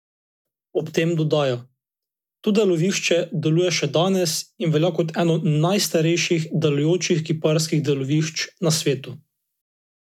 Ob tem dodaja: "To delovišče deluje še danes in velja kot eno najstarejših delujočih kiparskih delovišč na svetu.